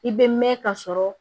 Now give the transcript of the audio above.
I bɛ mɛn ka sɔrɔ